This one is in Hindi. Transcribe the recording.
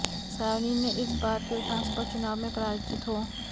सायोनी इस बार के विधानसभा चुनाव में पराजित हो